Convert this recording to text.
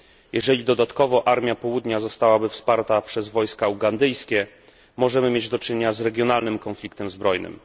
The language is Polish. Jeżeli dodatkowo armia południa zostałaby wsparta przez wojska ugandyjskie, możemy mieć do czynienia z regionalnym konfliktem zbrojnym.